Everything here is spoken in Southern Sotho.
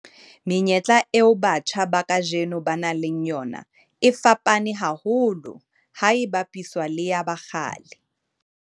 Menyetla eo batjha ba kajeno ba nang le yona e fapane haholo ha e bapiswa le ya ba kgale.